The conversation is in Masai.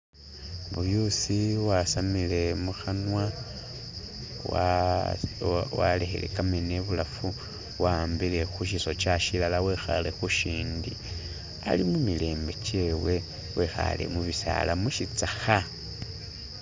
Buyuusi wasamire mukhanwa walekhele kameeno ibulafu wawambile khu Shisokya shilala wekhale khu shindi ali mu mirembe kyewe wekhaale mu bisaala mu shitsakha.